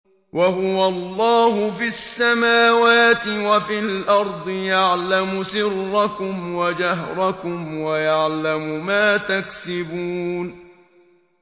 وَهُوَ اللَّهُ فِي السَّمَاوَاتِ وَفِي الْأَرْضِ ۖ يَعْلَمُ سِرَّكُمْ وَجَهْرَكُمْ وَيَعْلَمُ مَا تَكْسِبُونَ